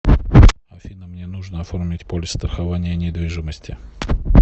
афина мне нужно оформить полис страхования недвижимости